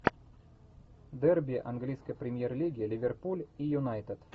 дерби английской премьер лиги ливерпуль и юнайтед